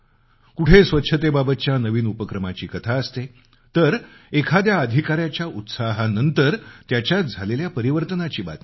कुठे स्वच्छतेबाबतच्या नवीन उपक्रमाची कथा असते तर एखाद्या अधिकाऱ्याच्या जोशामुळे झालेलं परिवर्तनाची बातमी असते